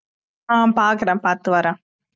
ஆஹ் பாக்குறேன் பாத்து வரேன்